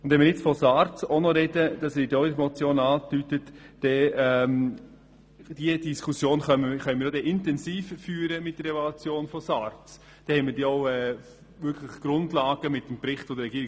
Und wenn wir nun auch noch von SARZ sprechen, wie in der Motion angedeutet, können wir diese Diskussion ja dann mit dem Bericht des Regierungsrats über die Evaluation von SARZ intensiver führen.